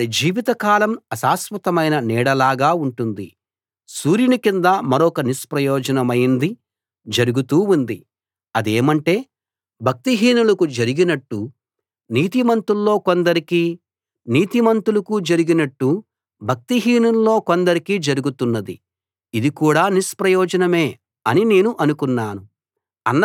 సూర్యుని కింద మరొక నిష్ప్రయోజనమైంది జరుగుతూ ఉంది అదేమంటే భక్తిహీనులకు జరిగినట్టు నీతిమంతుల్లో కొందరికీ నీతిమంతులకు జరిగినట్టు భక్తిహీనుల్లో కొందరికీ జరుగుతున్నది ఇది కూడా నిష్ప్రయోజనమే అని నేను అనుకున్నాను